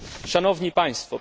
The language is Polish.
Szanowni Państwo!